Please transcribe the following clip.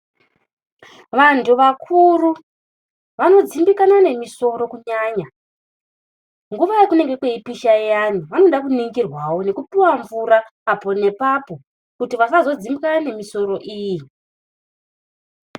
Vantu vakuru vanodzimbikana nemusoro kunyanya. Nguwa yakunengwe kweipisha iyani vanoda kuningirwawo neku puwa mvura apo nepapo kuti vasazo dzimbikana nemisoro iyi .